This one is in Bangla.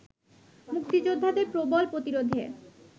মুক্তিযোদ্ধাদের প্রবল প্রতিরোধে